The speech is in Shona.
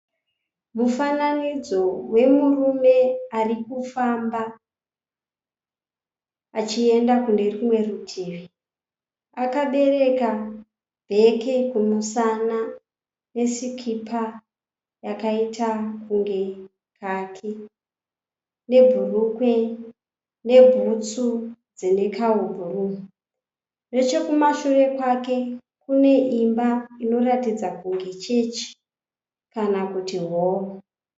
Mufananidzo wemurume arikufamba achienda kune rumwe rutivi. Akabereka bheke kumusana, nesikipa yakaita kunge kaki, nebhurukwa, nebhutsu dzine kahubhuruu. Nechekumashure kwake kune imba inoratidza kunge chechi kana kuti horo.